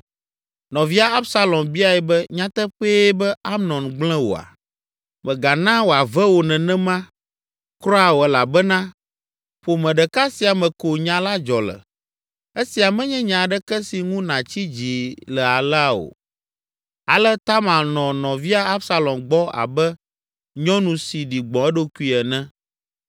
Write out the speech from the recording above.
Nɔvia Absalom biae be, “Nyateƒee be Amnon gblẽ wòa? Mègana wòave wò nenema kura o, elabena ƒome ɖeka sia me ko nya la dzɔ le. Esia menye nya aɖeke si ŋu nàtsi dzi le alea o!” Ale Tamar nɔ nɔvia Absalom gbɔ abe nyɔnu si ɖi gbɔ̃ eɖokui ene.